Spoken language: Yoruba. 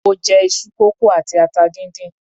Mo jẹ iṣu kókò àti atata díndín.